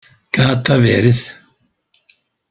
Gat það verið?